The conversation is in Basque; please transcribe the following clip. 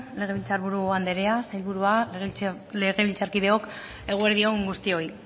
legebiltzar buru anderea sailburua legebiltzarkideok eguerdi on guztioi